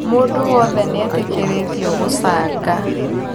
Mũndũ wothe nĩetĩkĩrĩtio gũchanga